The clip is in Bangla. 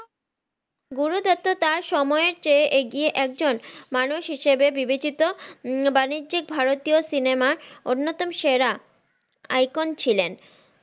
গুরু দত্তা তার সময়ে যে এগিয়ে একজন মানুষ হিসেবে বিবেচিত বাণিজ্যিক ভারতীয় cinema অন্যতম সেরা icon ছিলেন।